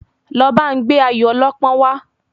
Lọ ba n gbé Ayọ̀ ọlọ́pọ́n wa